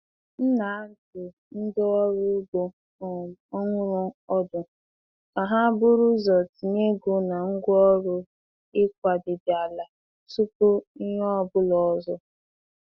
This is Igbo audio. M na-adụ ndị ọrụ ugbo um ọhụrụ ọdụ ka ha buru ụzọ tinye ego na ngwaọrụ ịkwadebe ala tupu ihe ọ bụla ọzọ.